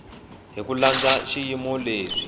hi ku landza swiyimo leswi